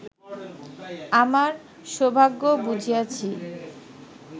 আমার সৌভাগ্য বুঝিয়াছি